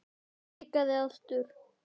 Hikaði aftur.